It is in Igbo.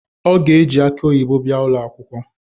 O ga-eji akị oyibo bịa ụlọakwụkwọ